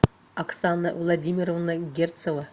оксана владимировна герцева